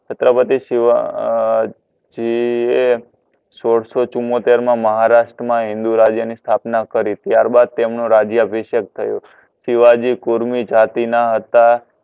છત્રપતિ શિવજી એ સોળસો ચુંમોતેર મા મહારાસ્ટ્ર મા હિન્દુ રાજ્ય ની સ્તાપના કરી ત્યારબાદ તમનો રાજ્યઅભિશકે થયો શિવજી કુર્મી જાતી ના હતા